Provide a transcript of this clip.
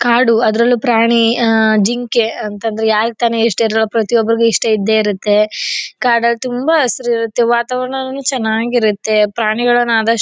ಕಾಡು ಅದ್ರಲ್ಲೂ ಪ್ರಾಣಿ ಜಿಂಕೆ ಅಂತ ಅಂದ್ರೆ ಯಾರಿಗ್ ತಾನೇ ಇಷ್ಟ ಇರಲ್ಲ ಪ್ರತಿ ಒಬ್ಬರಿಗೂ ಇಷ್ಟ ಇದ್ದೆ ಇರುತ್ತೆ. ಕಡಲ್ ತುಂಬಾ ಹಸೀರ್ ಇರುತ್ತೆ ವಾತಾವರಣನು ಚೆನ್ನಾಗಿರುತ್ತೆ ಪ್ರಾಣಿಗಳನ ಆದಷ್ಟು--